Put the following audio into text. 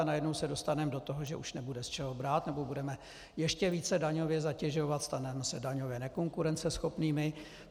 A najednou se dostaneme do toho, že už nebude z čeho brát, nebo budeme ještě více daňově zatěžovat, staneme se daňově nekonkurenceschopnými.